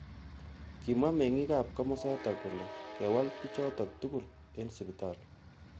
Kimwa mengik ab kimosatak kole kewal bichotok. tugul eng sipitali.